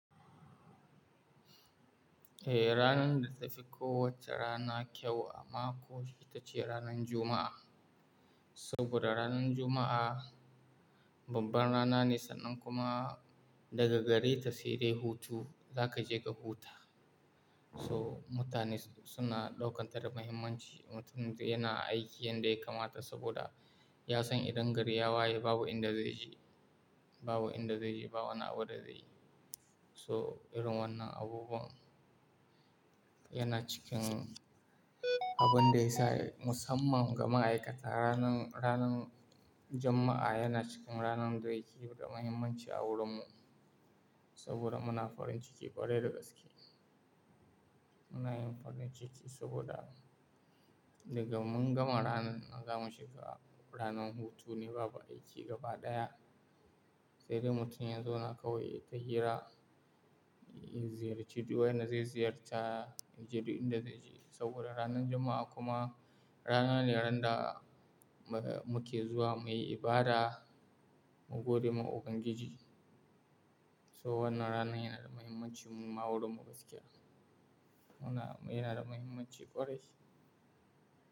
Eh, ranar da ta fi ko wace rana kyau a mako ita ce ranar Juma'a. Saboda ranar Juma'a babban rana ne, sannan kuma daga gare ta sai dai hutu, za ka je ka huta. So mutane su na ɗaukan ta da muhimmanci. Mutumin da yana aiki yanda ya kamata saboda ya san idan gari ya waye babu inda zai je, babu inda zai je, babu wani abu da zai yi. So irin wannan abubuwan yana cikin abun da ya sa musamman ga ma'aikata ranar, ranar Juma'a yana cikin ranar da yake da muhimmanci a wurin mu. Saboda muna farin ciki ƙwarai da gaske. Muna yin farin ciki saboda daga mun gama ranar, zamu shiga ranar hutu ne, babu aiki gaba ɗaya. Sai dai mutum ya zauna kawai yayi ta hira, ya ziyarci duk wa yanda zai ziyarta yaje duk inda zai je. Saboda ranar Juma'a kuma rana ne ran da muke zuwa muyi ibada mu gode ma Ubangiji. So wannan ranar yana da muhimmanci muma wurin mu gaskiya. Yana da muhimmanci ƙwarai.